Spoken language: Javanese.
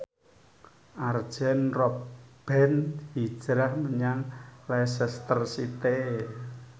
Arjen Robben hijrah menyang Leicester City